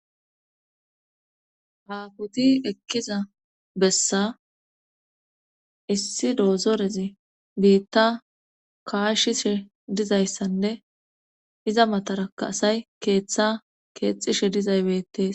Apoti ekkiza bessa issi doozorezi biitta kaashishe dizayssanne iza mataraka asay keeththa keexishe dizaybettees